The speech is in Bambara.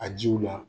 A jiw la